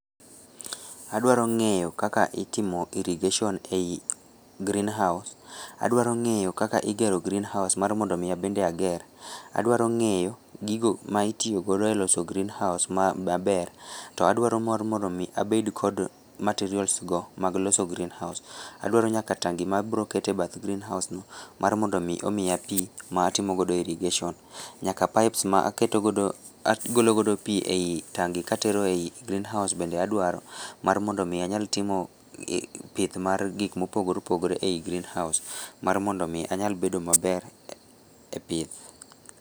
Adwarong'eyo kaka itimo irrigation ei green house, adwarong'eyo kaka igero green house mar mondomi abende ager, adwarong'eyo gigo maitiyogodo e loso green house maber to adwaro mondo mi abed kod materials go mag loso green house, adwaro nyaka tangi mabiroketo e bath greenhouseno matimogodo irrigation nyaka pipes maketo godo, agolo godo pii ei tangi katero ei green house bende adwaro mar mondo mi anyal timo pith ma gikmopogore opogore ei green house marmondomi anyal bedo maber e pith.